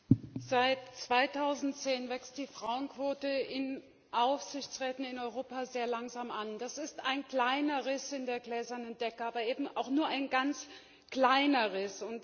Herr Präsident! Seit 2010 wächst die Frauenquote in Aufsichtsräten in Europa sehr langsam an. Das ist ein kleiner Riss in der gläsernen Decke, aber eben auch nur ein ganz kleiner Riss!